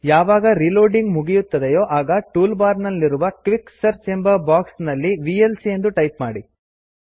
ಯಾವಾಗ ರೀಲೋಡಿಂಗ್ ಮುಗಿಯುತ್ತದೆಯೋ ಆಗ ಟೂಲ್ ಬಾರ್ ನಲ್ಲಿರುವ ಕ್ವಿಕ್ ಸರ್ಚ್ ಕ್ವಿಕ್ ಸರ್ಚ್ ಎಂಬ ಬಾಕ್ಸ್ ನಲ್ಲಿ ವಿಎಲ್ಸಿ ಎಂದು ಟೈಪ್ ಮಾಡಿ